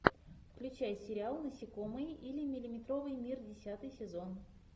включай сериал насекомые или миллиметровый мир десятый сезон